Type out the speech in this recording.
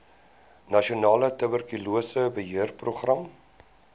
nasionale tuberkulose beheerprogram